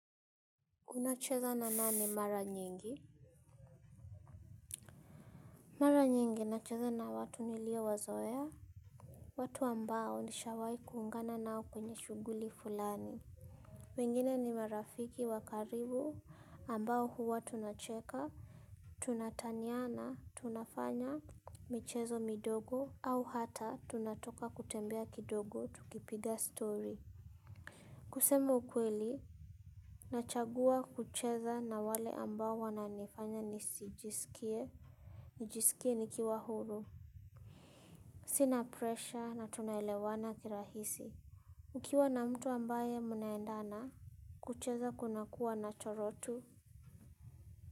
Unacheza na nani mara nyingi? Mara nyingi nacheza na watu niliowazoea. Watu ambao nishawai kuungana nao kwenye shuguli fulani. Wengine ni marafiki wa karibu ambao huwa tunacheka. Tunataniana, tunafanya. Michezo midogo. Au hata tunatoka kutembea kidogo tukipiga story. Kusema ukweli. Nachagua kucheza na wale ambao wananifanya nisijisikie. Nijisikie nikiwa huru. Sina pressure na tunaelewana kirahisi. Ukiwa na mtu ambaye mnaendana kucheza kuna kuwa natural tu.